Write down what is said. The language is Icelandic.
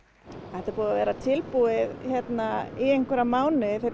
þetta er búið að vera tilbúið hérna í einhverja mánuði þeir